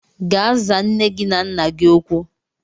Gaa zaa nne gị na nna gị okwu